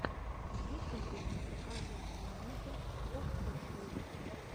в ютубе покажи планету оффишл